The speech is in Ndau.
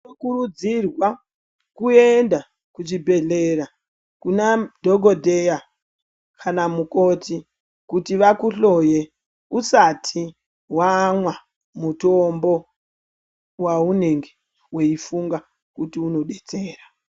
Tinokurudzirwa kuenda kuzvibhedhleya kunadhogodheya kana mukoti kuti vakuhloye usati wamwa mutombo waunenge weifunga kuti unodetsera.